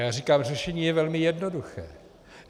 Já říkám, řešení je velmi jednoduché.